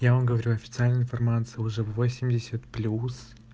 я вам говорю официальной информации уже восемьдесят плюс